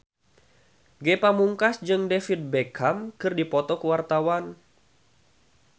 Ge Pamungkas jeung David Beckham keur dipoto ku wartawan